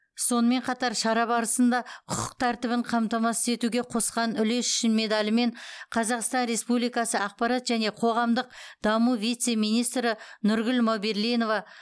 сонымен қатар шара барысында құқық тәртібін қамтамасыз етуге қосқан үлесі үшін медалімен қазақстан республикасы ақпарат және қоғамдық даму вице министрі нұргүл мауберлинова